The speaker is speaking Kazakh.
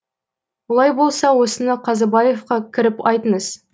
олай болса осыны қазыбаевқа кіріп айтыңыз